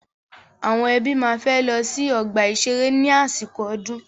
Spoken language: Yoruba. Àwọn ẹbí máa fẹ́ lọ sí ọ̀gbà ìṣeré ní àsìkò ọdún.